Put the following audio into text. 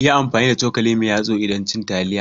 Yi amfani da cokali mai yatsa idan cin taliya.